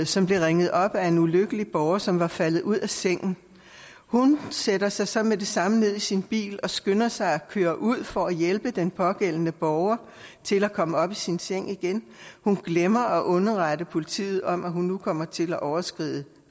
som blev ringet op af en ulykkelig borger som var faldet ud af sengen hun sætter sig så med det samme ned i sin bil og skynder sig at køre ud for at hjælpe den pågældende borger til at komme op i sin seng igen hun glemmer at underrette politiet om at hun nu kommer til at overskride